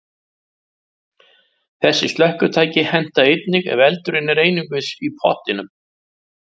Þessi slökkvitæki henta einnig ef eldurinn er einungis í pottinum.